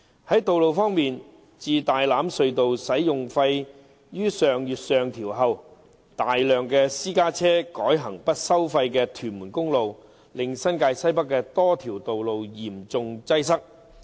在道路方面，自大欖隧道使用費於上月上調後，大量私家車改行不收費的屯門公路，令新界西北多條道路嚴重擠塞。